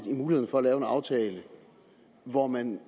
i muligheden for at lave en aftale hvor man